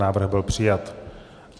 Návrh byl přijat.